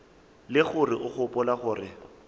le gore o gopola gore